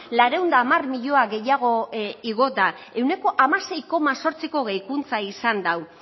laurehun eta hamar milioi gehiago igo da ehuneko hamasei koma zortziko gehikuntza izan du